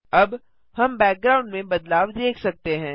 अब हम बैकग्राउंड में बदलाव देख सकते हैं